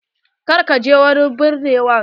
Kar ka ji wa binnewar.